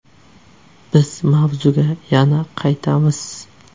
Biz mavzuga yana qaytamiz...